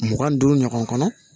Mugan ni duuru ɲɔgɔn kɔnɔ